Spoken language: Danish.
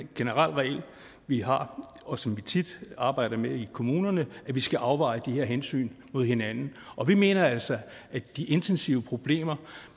generel regel vi har og som vi tit arbejder med i kommunerne at vi skal afveje de her hensyn mod hinanden vi mener altså at de intensive problemer